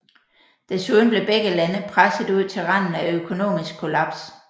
Desuden blev begge lande presset ud til randen af økonomisk kollaps